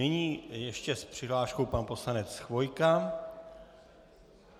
Nyní ještě s přihláškou pan poslanec Chvojka.